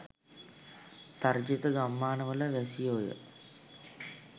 තර්ජිත ගම්මාන වල වැසියෝය.